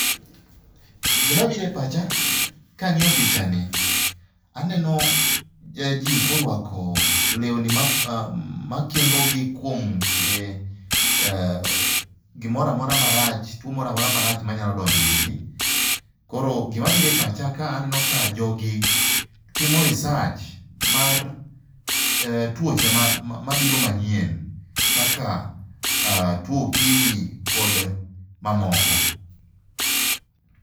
Gimabiro e pacha kang'iyo pichani aneno ji korwako lewni makingogi kuom gimoro amora marach, tuwo mora mora marach manyalo donjo irgi. Koro gimabiro e pacha ka aneno ka jogi timo research mar tuoche mabiro manyien kaka tuwo okimi kod mamoko.